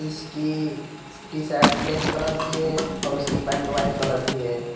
इसकी T-shirt black colour की है और उसकी पैंट व्हाइट कलर की है।